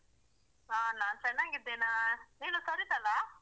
ಹಾ ನಾನು ಚೆನ್ನಾಗಿದ್ದೇನಾ ನೀನು ಸರಿತಾ ಅಲ್ಲಾ?